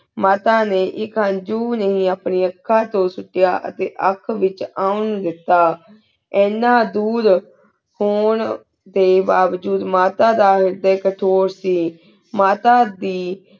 ਮਾਤਾ ਨੀ ਏਕ ਹੰਜੂ ਨੀ ਆਪਣੀ ਅਖ੍ਨਾਂ ਤੂੰ ਸੁਕੇਯਾ ਆਖੀ ਆਂਖ ਵੇਚ ਉਨ ਦੇਤਾ ਏਨਾ ਦੁਰ ਹੁਣ ਡੀ ਬਾਵਜੂਦ ਮਾਤਾ ਏਘੀ ਖਿਥੁਰ ਸੀ ਮਾਤਾ ਦੀ